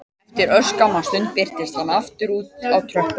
Eftir örskamma stund birtist hann aftur úti á tröppunum